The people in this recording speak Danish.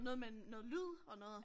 Noget med noget lyd og noget